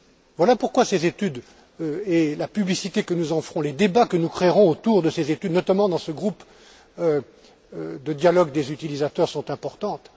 Voilà pourquoi ces études et la publicité que nous en ferons, les débats que nous créerons autour de ces études notamment dans ce groupe de dialogue des utilisateurs sont importants.